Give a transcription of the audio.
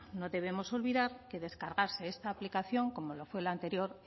no debemos olvidar que descargarse esta aplicación como lo fue la anterior